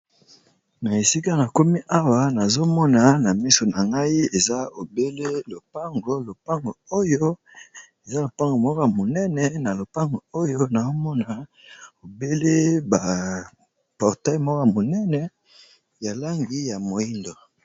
Na esika na komi awa nazomona na miso na ngai eza obele lopango, lopango oyo eza lopango moko monene na lopango oyo naomona obele ba portail moko monene ya langi ya moyindo.